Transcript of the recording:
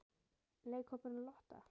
Leikhópurinn Lotta?